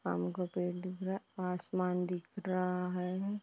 आम का पेड़ दिख रहा। आसमान दिख रहा है।